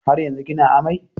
Har yanzu kina amai?